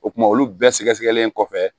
O kumana olu bɛɛ sɛgɛsɛgɛlen kɔfɛ